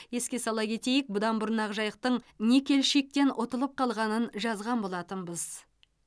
еске сала кетейік бұдан бұрын ақжайықтың никельщиктен ұтылып қалғанын жазған болатынбыз